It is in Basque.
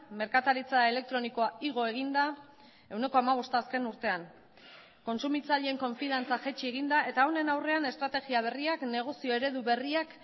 merkataritza elektronikoa igo egin da ehuneko hamabosta azken urtean kontsumitzaileen konfiantza jaitsi egin da eta honen aurrean estrategia berriak negozio eredu berriak